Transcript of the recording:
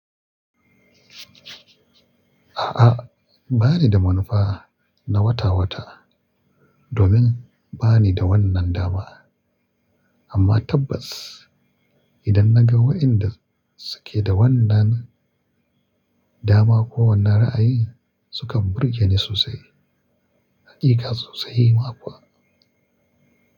A'a, ba ni da manufa na wata wata domin ba ni da wannan dama. Amma tabbas idan na ga waɗanda suke da wannan dama ko wannan ra'ayi sukan burge ni sosai, haƙiƙa sosai ma kuwa.